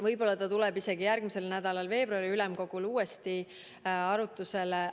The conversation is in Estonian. Võib-olla tuleb see isegi järgmisel nädalal veebruari ülemkogul arutusele.